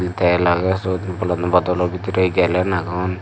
tel agey suot bol dodolo bidirey gelen agon.